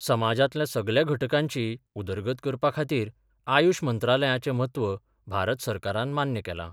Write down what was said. समाजांतल्या सगल्या घटकांची उदरगत करपा खातीर आयुष मंत्रालयाचें म्हत्व भारत सरकारान मान्य केलां.